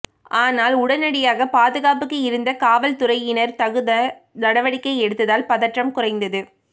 ஆனால் உடனடியாக பாதுகாப்புக்கு இருந்த காவல்துறையினர் தகுந்த நடவடிக்கை எடுத்ததால் பதற்றம் குறைந்தது